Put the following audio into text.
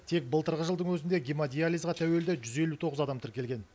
тек былтырғы жылдың өзінде гемодиализға тәуелді жүз елу тоғыз адам тіркелген